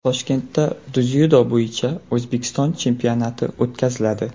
Toshkentda dzyudo bo‘yicha O‘zbekiston chempionati o‘tkaziladi.